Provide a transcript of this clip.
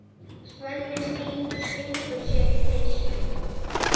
Svenni stingur sér í peysu.